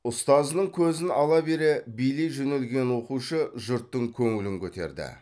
ұстазының көзін ала бере билей жөнелген оқушы жұрттың көңілін көтерді